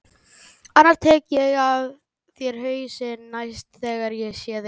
Annars tek ég af þér hausinn næst þegar ég sé þig.